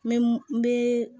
N bɛ n bɛ